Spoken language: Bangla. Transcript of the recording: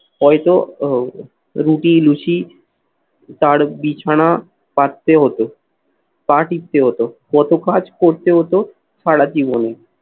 হয়তো আহ রুটি, লুচি তার বিছানা পাততে হতো, পা টিপতে হতো, কত কাজ করতে হতো সারা জীবনে।